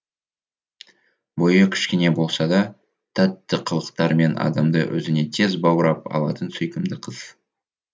бойы кішкене болса да тәтті қылықтарымен адамды өзіне тез баурап алатын сүйкімді қыз